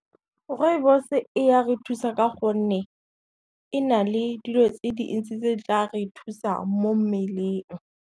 Rooibos e ya re thusa ka gonne, e na le dilo tse dintsi tse tla re thusa mo mmeleng.